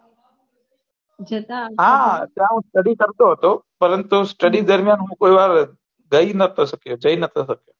હા ત્યાં હય study કરતો હતો પરંતુ study દરમિયાન હું કોઈક વાર ગયી નથી સક્યો